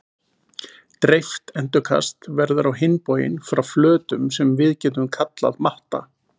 Dreift endurkast verður á hinn bóginn frá flötum sem við getum kallað matta.